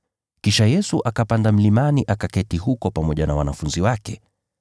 Kisha Yesu akapanda mlimani akaketi huko pamoja na wanafunzi wake.